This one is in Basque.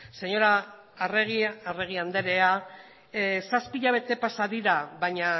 arregi anderea zazpi hilabete pasa dira baina